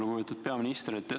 Lugupeetud peaminister!